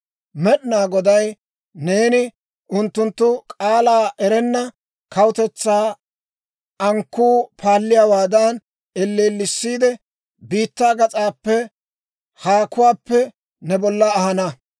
«Med'inaa Goday neeni unttunttu k'aalaa erenna kawutetsaa ankkuu paalliyaawaadan elleellisiidde, biittaa gas'aappe, haakuwaappe ne bolla ahana.